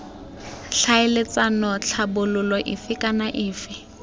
tlhaeletsana tlhabololo efe kana efe